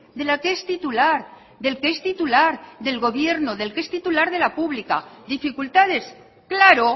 de la que es titular del que es titular del gobierno del que es titular de la pública dificultades claro